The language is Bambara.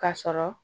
Ka sɔrɔ